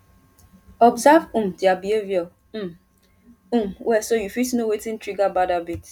observe um their behavior um um well so you fit know wetin trigger bad habit